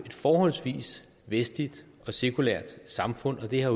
forholdsvis vestligt og sekulært samfund og det har